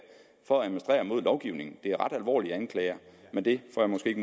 for at administrere mod lovgivningen det er ret alvorlige anklager men det får jeg måske ikke